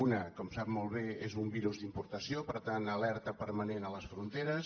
un com sap molt bé és un virus d’importació per tant alerta permanent a les fronteres